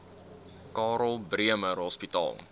karl bremer hospitaal